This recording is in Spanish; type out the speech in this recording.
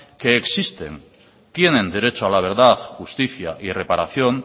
que existen tienen derecho a la verdad justicia y reparación